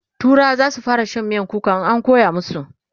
turawa zasu fara Shan miyan kuka in an koya masu